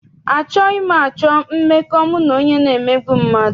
Anaghị m achọ mmekọ mụ na onye na-emegbu mmadụ.